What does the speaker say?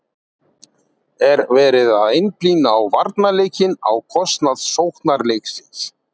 Er verið að einblína á varnarleikinn á kostnað sóknarleiksins?